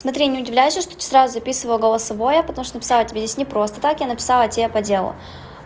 смотри не удивляйся что ты сразу записываю голосовое потому что написала тебе здесь не просто так я написала тебе по делу